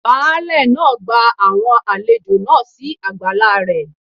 Baálẹ̀ nì ó gba àwọn àlejò náà si àgbàlá rẹ̀